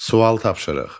Sual tapşırıq.